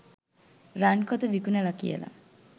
රන් කොත විකුණලා කියලා.